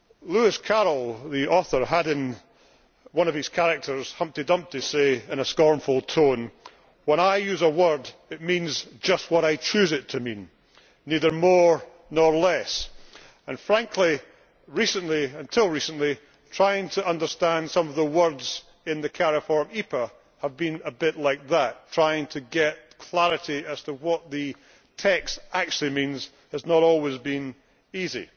Lewis Carroll, the author, had one of his characters, Humpty Dumpty, say in a scornful tone When I use a word, it means just what I choose it to mean, neither more nor less'. Frankly, until recently, trying to understand some of the words in the Cariforum EPA has been a bit like that trying to get clarity as to what the text actually means has not always been easy.